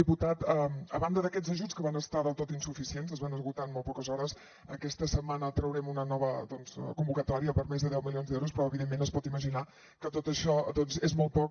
diputat a banda d’aquests ajuts que van ser del tot insufi cients es van esgotar en molt poques hores aquesta setmana traurem una nova convocatòria per més de deu milions d’euros però evidentment es pot imaginar que tot això doncs és molt poc